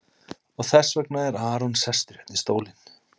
Og þess vegna er Aron sestur hérna í stólinn?